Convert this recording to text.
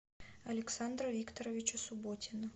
александра викторовича субботина